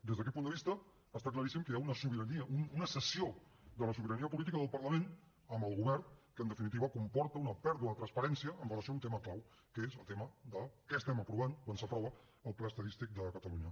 des d’aquest punt de vista està claríssim que hi ha una sobirania una cessió de la sobirania política del parlament al govern que en definitiva comporta una pèrdua de transparència amb relació a un tema clau que és el tema de què estem aprovant quan s’aprova el pla estadístic de catalunya